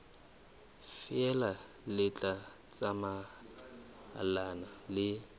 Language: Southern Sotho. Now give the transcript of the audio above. feela le tla tsamaelana le